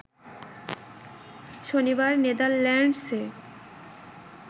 শনিবার নেদারল্যান্ডসে